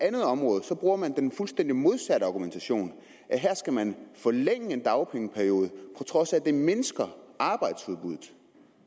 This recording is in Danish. andet område bruger man den fuldstændig modsatte argumentation her skal man forlænge en dagpengeperiode på trods af at det mindsker arbejdsudbuddet